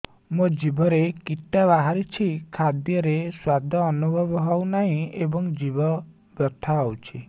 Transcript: ମୋ ଜିଭରେ କିଟା ବାହାରିଛି ଖାଦ୍ଯୟରେ ସ୍ୱାଦ ଅନୁଭବ ହଉନାହିଁ ଏବଂ ଜିଭ ବଥା ହଉଛି